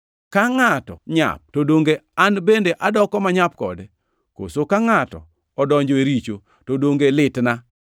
Ka ngʼato nyap, to donge an bende adoko manyap kode? Koso ka ngʼato odonjo e richo, to donge litna?